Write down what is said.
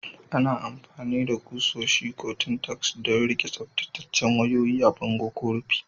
Ana amfani da kusoshi ko Tintacks don riƙe tsaftataccen wayoyi a bango ko rufi.